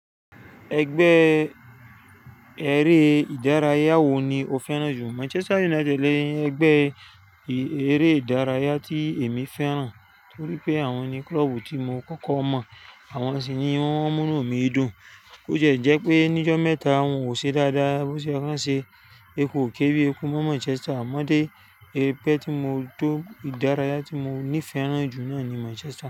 Ẹgbẹ́ eré ìdárayá wo ni o fẹ́ràn jù? Manchester United ni ẹgbẹ́ eré ìdárayá tí èmi fẹ́ràn torí pé àwọn ni klọ́ọ̀bù tí mo kọ́kọ́ mọ̀, àwọn sì ni wọ́n múnú mi dùn. Kó jẹ́ pé ní ọjọ́ mẹ́ta wọn ò ṣe dáadáa bó ṣe ye kàn ṣe, eku ò ké bí eku mọ́ Manchester, àmọ́ dé pẹ́ tí mo tó ìdárayá tí mo nífẹ̀ẹ́ jù náà ni Manchester.